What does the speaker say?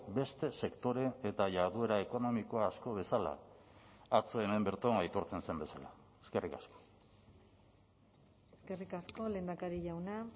beste sektore eta jarduera ekonomiko asko bezala atzo hemen bertan aitortzen zen bezala eskerrik asko eskerrik asko lehendakari jauna